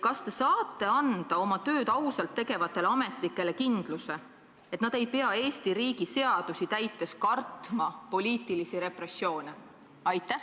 Kas te saate anda oma tööd ausalt tegevatele ametnikele kindluse, et nad ei pea Eesti riigi seadusi täites kartma poliitilisi repressioone?